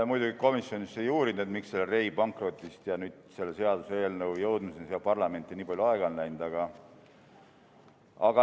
Me muidugi komisjonis ei uurinud, miks pärast Rey pankrotti selle seaduseelnõu parlamenti jõudmisega nii palju aega on läinud.